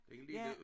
Den lille